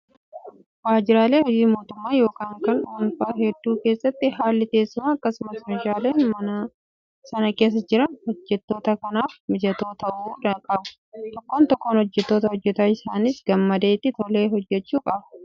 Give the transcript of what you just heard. Waajjiraalee hojii mootummaa yookiin kan dhuunfaa hedduu keessatti haalli teessumaa akkasumas meeshaaleen mana sana keessa jiran hojjattoota sanaaf mijatoo ta'uu qabu. Tokkoon tokkoo hojjataa hojjataa Isaanis gammadee itti tolee hojjachuu qaba.